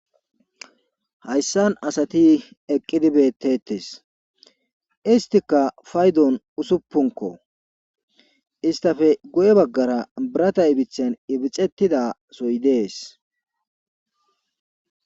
hayssan asati eqqidi beettetes istika faydon usuppunko istafe goye baggara birata ibithen ibixettida soy dees